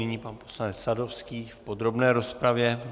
Nyní pan poslanec Sadovský v podrobné rozpravě.